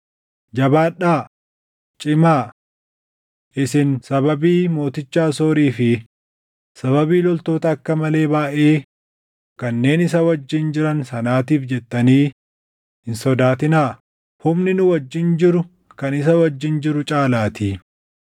“Jabaadhaa; cimaa. Isin sababii mooticha Asoorii fi sababii loltoota akka malee baayʼee kanneen isa wajjin jiran sanaatiif jettanii hin sodaatinaa; humni nu wajjin jiru kan isa wajjin jiru caalaatii.